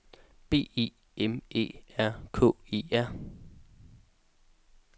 B E M Æ R K E R